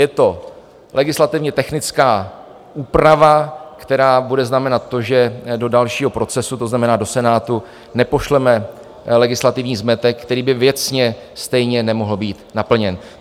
Je to legislativně technická úprava, která bude znamenat to, že do dalšího procesu, to znamená do Senátu, nepošleme legislativní zmetek, který by věcně stejně nemohl být naplněn.